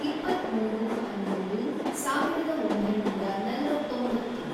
ಇಪ್ಪತ್ಮೂರು, ಹನ್ನೊಂದು, ಸಾವಿರದ ಒಂಬೈನೂರ ನಲವತ್ತೊಂಬತ್ತು